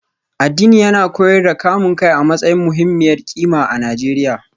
Addini yana koyar da kamun kai a matsayin muhimmiyar kima a Najeriya